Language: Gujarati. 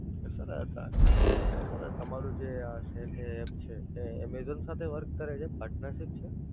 Sir Sir તમારું જે આ Cell Hey app છે એ Amazon સાથે Work કરે છે?